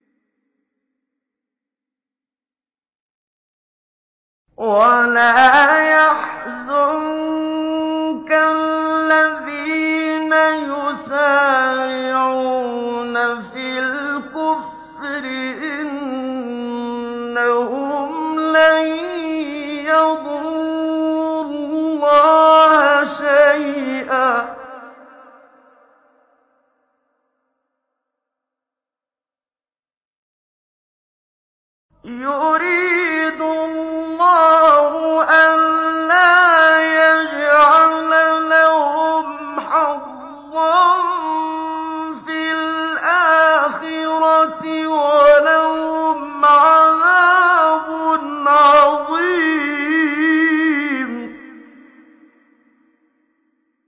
وَلَا يَحْزُنكَ الَّذِينَ يُسَارِعُونَ فِي الْكُفْرِ ۚ إِنَّهُمْ لَن يَضُرُّوا اللَّهَ شَيْئًا ۗ يُرِيدُ اللَّهُ أَلَّا يَجْعَلَ لَهُمْ حَظًّا فِي الْآخِرَةِ ۖ وَلَهُمْ عَذَابٌ عَظِيمٌ